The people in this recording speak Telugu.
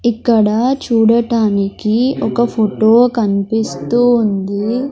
ఇక్కడ చూడటానికి ఒక ఫొటో కన్పిస్తూ ఉంది.